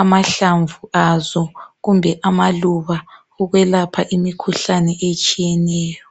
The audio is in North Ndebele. amahlamvu azo kumbe amaluba ukwelapha imikhuhlane etshiyeneyo.